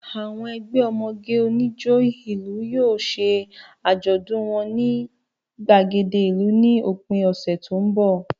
Àwọn ẹgbẹ́ ọmọge onijó ìlú yóò ṣe àjọ̀dún wọn ní gbàgede ìlú ní òpin ọ̀sẹ̀ tó ń bọ̀